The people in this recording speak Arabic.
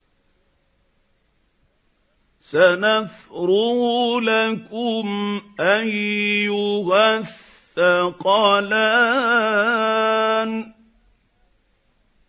سَنَفْرُغُ لَكُمْ أَيُّهَ الثَّقَلَانِ